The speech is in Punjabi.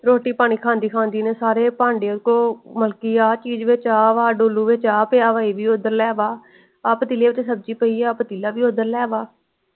ਰੋਟੀ ਪਾਣੀ ਖਾਂਦੀ ਖਾਂਦੀ ਨੇ ਸਾਰੇ ਪਾਂਡੇਆਂ ਤੋਂ ਮਤਲਬ ਆਹ ਚੀਜ ਚ ਆਹ ਵਾ ਡੋਲੂ ਵਿਚ ਆ ਪਿਆ ਵਾ ਇਹ ਵੀ ਓਦਰ ਲੈਵਾ ਆਹ ਪਤੀਲੇ ਚ ਸਬਜ਼ੀ ਪਯੀਏ ਆ ਇਹ ਪਤੀਲਾ ਵੀ ਓਦਰ ਲੈ ਵਾ।